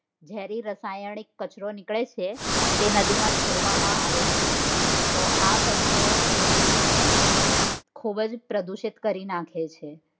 જેરી રસાયણ નીકળે છે. જે નદી માં છોડવામાં આવે છે તો આ કચરો નદી ને ખુબજ પ્રદુષિત કરી નાખે છે.